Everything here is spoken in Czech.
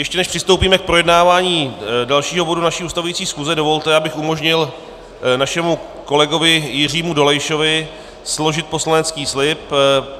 Ještě než přistoupíme k projednávání dalšího bodu naší ustavující schůze, dovolte, abych umožnil našemu kolegovi Jiřímu Dolejšovi složit poslanecký slib.